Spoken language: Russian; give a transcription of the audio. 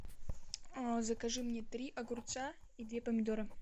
закажи мне три огурца и две помидора